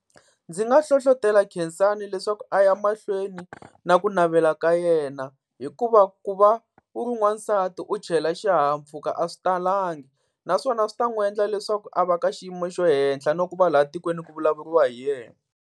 Ndzi nga hlohlotela Khensani leswaku a ya mahlweni na ku navela ka yena, hikuva ku va u ri n'wansati u chayela xihahampfhuka a swi talangi. Naswona swi ta n'wi endla leswaku a va ka xiyimo xa le henhla na ku va laha tikweni ku vulavuriwa hi yena.